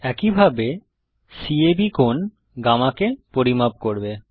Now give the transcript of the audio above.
একইভাবে ক্যাব কোণ গামাকে পরিমাপ করবে